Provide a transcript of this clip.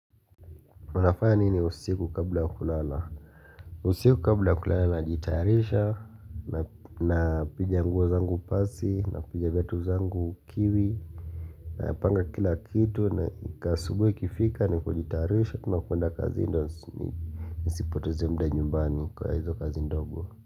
Wanafanya nini usiku kabla ya kulala? Usiku kabla kulala najitayarisha, napiga nguo zangu pasi, napiga viatu zangu kiwi, napanga kila kitu, na asubuhi ikifika ni kujitayarisha, tunakwenda kazi ndiyo, nisipoteze muda nyumbani kwa hizo kazi ndogo.